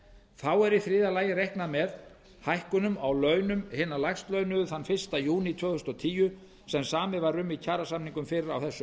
þá er í þriðja lagi reiknað með hækkunum á launum hinna lægst launuðu þann fyrsta júní tvö þúsund og tíu sem samið var um í kjarasamningum fyrr á þessu